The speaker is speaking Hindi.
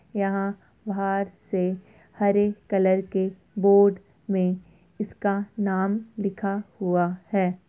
यहाँ बाहर से हरे कलर के बोर्ड मे इसका नाम लिखा हुआ है।